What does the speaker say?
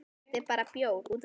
Þetta er bara bjór.